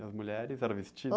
E as mulheres era vestido?